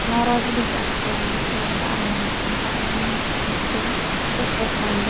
Norozilik aksiyalari chog‘ida Armaniston parlamenti spikeri do‘pposlandi.